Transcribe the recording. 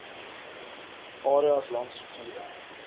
areas langs riviere